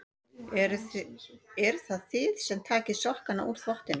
Eruð það þið sem takið sokkana úr þvottinum?